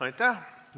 Aitäh!